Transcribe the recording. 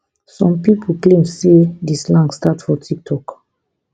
some pipo claim say di slang start for tiktok